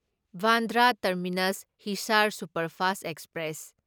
Bandra terminus Hisar superfast express